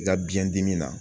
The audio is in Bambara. I ka biyɛn dimi na